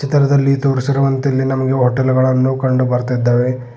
ಚಿತ್ರದಲ್ಲಿ ತೋರಿಸಿರುವಂತೆ ಇಲ್ಲಿ ನಮಗೆ ಹೋಟೆಲ್ ಗಳನ್ನು ಕಂಡು ಬರ್ತೀದ್ದಾವೆ.